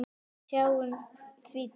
Við sjáum því til.